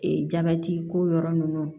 Ee jabɛti ko yɔrɔ ninnu